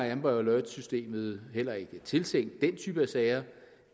er amber alert systemet heller ikke tiltænkt den type sager